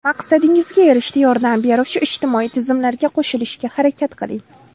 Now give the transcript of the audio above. Maqsadingizga erishishda yordam beruvchi ijtimoiy tizimlarga qo‘shilishga harakat qiling.